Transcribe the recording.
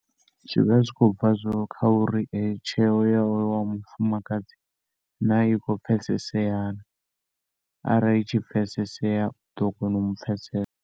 Zwivha zwikhobva kha uri eyo tsheo ya wa mufumakedzi na ikho pfesesea na ara ishi pfesesea uḓo kona umu pfesesa.